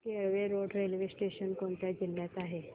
Kelve road railway station कोणत्या जिल्ह्यात आहे